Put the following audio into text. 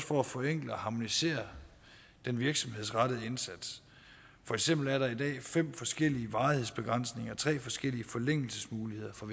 for at forenkle og harmonisere den virksomhedsrettede indsats for eksempel er der i dag fem forskellige varighedsbegrænsninger og tre forskellige forlængelsesmuligheder for